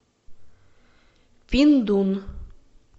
пиндун